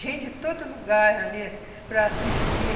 Gente de todo lugar ia ali para assistir.